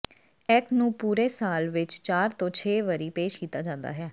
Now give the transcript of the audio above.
act ਨੂੰ ਪੂਰੇ ਸਾਲ ਵਿੱਚ ਚਾਰ ਤੋਂ ਛੇ ਵਾਰੀ ਪੇਸ਼ ਕੀਤਾ ਜਾਂਦਾ ਹੈ